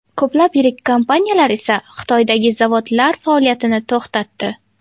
Ko‘plab yirik kompaniyalar esa Xitoydagi zavodlari faoliyatini to‘xtatdi.